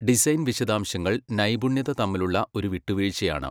Design വിശദാംശങ്ങൾ നൈപുണ്യത തമ്മിലുള്ള ഒരു വിട്ടുവീഴ്ചയാണ്.